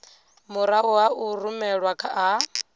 murahu ha u rumelwa ha